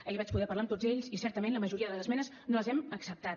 ahir vaig poder parlar amb tots ells i certament la majoria de les esmenes no les hem acceptat